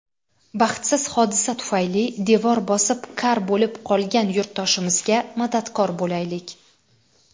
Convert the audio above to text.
Baxtsiz hodisa tufayli devor bosib kar bo‘lib qolgan yurtdoshimizga madadkor bo‘laylik!.